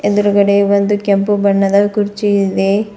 ಎದ್ರುಗಡೆ ಒಂದು ಕೆಂಪು ಬಣ್ಣದ ಕುರ್ಚಿ ಇದೆ.